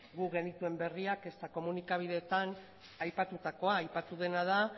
guk genituen berriak ezta komunikabideetan aipatutako aipatu dena da